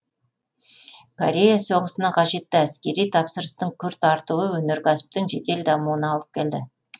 корея соғысына қажетті әскери тапсырыстың күрт артуы өнеркәсіптің жедел дамуына алып келді